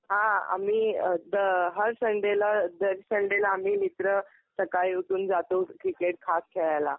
हा. आम्ही अ हर संडेला, दर संडेला आम्ही मित्र सकाळी उठून जातो क्रिकेट खास खेळायला.